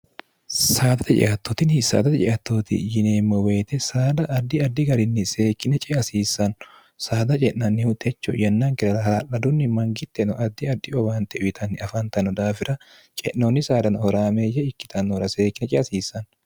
saadate ceattootini saadate ceattooti yineemmo woyite saada addi addi garinni seekkine ce asiissanno saada ce'nannihu techo yennaankilara hala'ladunni mangittenno addi addi obaante uyitanni afaantanno daafira ce'noonni saadano horaameeyye ikkitannoora seekkine ce asiissanno